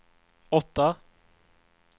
åtta